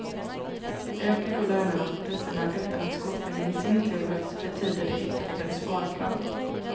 Ökar då lönerna och priserna utan att skolpengen i sin tur höjs betyder det ytterligare sparkrav.